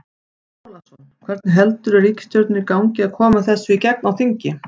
Andri Ólafsson: Hvernig heldurðu ríkisstjórninni gangi að koma þessu í gegn á þingi?